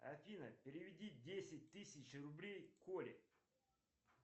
афина переведи десять тысяч рублей коле